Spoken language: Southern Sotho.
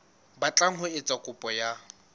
batlang ho etsa kopo ya